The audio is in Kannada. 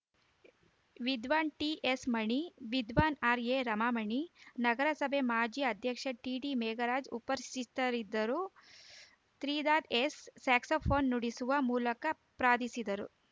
ವಿದ್ವಾನ್‌ ಟಿಎಸ್‌ಮಣಿ ವಿದ್ವಾನ್‌ ಆರ್‌ಎರಮಾಮಣಿ ನಗರಸಭೆ ಮಾಜಿ ಅಧ್ಯಕ್ಷ ಟಿಡಿಮೇಘರಾಜ್‌ ಉಪಸ್ಥಿತರಿದ್ದರು ತ್ರಿಧಾತ್‌ ಎಸ್‌ ಸ್ಯಾಕ್ಸೋಫೋನ್‌ ನುಡಿಸುವ ಮೂಲಕ ಪ್ರಾರ್ಧಿಸಿದರು